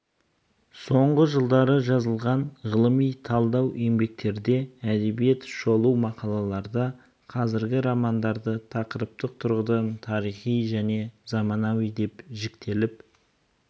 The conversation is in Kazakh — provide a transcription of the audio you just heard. соңғы жылдары жазылған ғылыми талдау еңбектерде әдеби шолу мақалаларда қазіргі романдары тақырыптық тұрғыдан тарихи және заманауи деп жіктеліп